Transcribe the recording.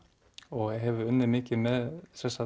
og hef unnið mikið með